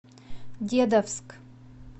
дедовск